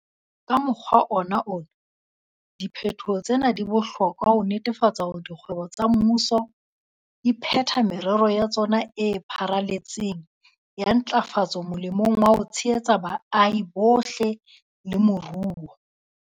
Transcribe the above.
Ka mokgwa ona wona, diphetoho tsena di bohlokwa ho netefatsa hore dikgwebo tsa mmuso di phetha merero ya tsona e pharaletseng ya ntlafatso molemong wa ho tshehetsa baahi bohle le moruo.